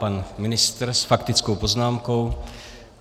Pan ministr s faktickou poznámkou.